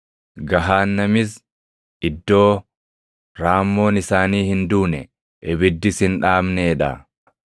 Gahaannamis iddoo, “ ‘raammoon isaanii hin duune, ibiddis hin dhaamnee dha.’ + 9:48 \+xt Isa 66:24\+xt*